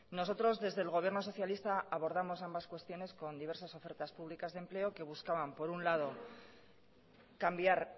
nosotros desde el gobierno socialista abordamos ambas cuestiones con diversas ofertas públicas de empleo que buscaban por un lado cambiar